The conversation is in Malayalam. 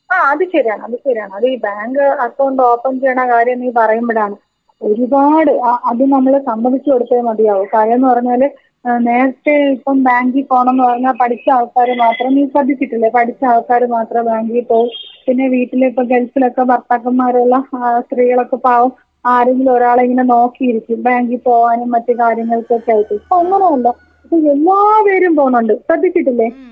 അഹ് അത് ശരിയാ അത് ശരിയാ.അത് ഈ ബാങ്ക് അക്കൗണ്ട് ഓപ്പൺ ചെയിണ കാര്യം നീ പറയുമ്പോഴാണ് ഒരുപാട് ആ അത് നമ്മൾ സമ്മതിച്ചു കൊടുത്തേ മതിയാവൂ. കാര്യമെന്ന് പറഞ്ഞാല് ഏഹ് നേരത്തെ ഇപ്പം ബാങ്കി പോണമെന്ന് പറഞ്ഞ പഠിച്ച ആൾക്കാര് മാത്രം ഈ ശ്രേധിച്ചിട്ടില്ലേ? പഠിച്ച ആൾക്കാര് മാത്രം ബാങ്കിൽ പോയി പിന്നെ വീട്ടിലേക്കോ ഗൾഫിലേക്കോ ഭർത്താക്കന്മാരെല്ലാം സ്ത്രീകളൊക്കെ പാവം ആരെങ്കിലും ഒരാളെ ഇങ്ങനെ നോക്കി ഇരിക്കും. ബാങ്കിൽ പോവാനും മറ്റു കാര്യങ്ങൾക്കും ഒക്കെയായിട്ട്.ഇപ്പോ അങ്ങനെ അല്ല എല്ലാപേരും പോവുന്നുണ്ട് ശ്രദ്ധിച്ചിട്ടില്ലെ?.